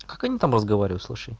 как они там разговаривают слушай